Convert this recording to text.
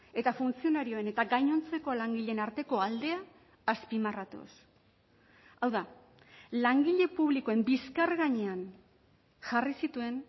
eta funtzionarioen eta gainontzeko langileen arteko aldea azpimarratuz hau da langile publikoen bizkar gainean jarri zituen